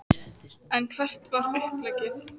En hvert var uppleggið?